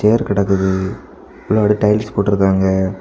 Wire கடக்குது முன்னாடி tiles போட்டுருக்காங்க.